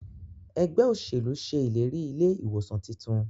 Ẹgbẹ́ òṣèlú ṣe ìlérí ilé ìwòsàn títún.